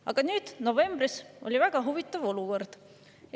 Aga nüüd, novembris oli väga huvitav olukord.